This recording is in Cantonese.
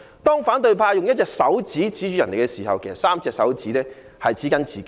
當反對派用1隻手指指着他人的時候，其實有3隻手指指着自己。